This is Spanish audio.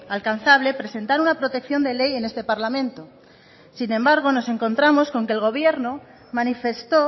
alcanzable presentar una protección de ley en este parlamento sin embargo nos encontramos con que el gobierno manifestó